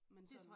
Men sådan